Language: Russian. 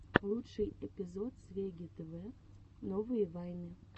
лучший эпизод свегги тв новые вайны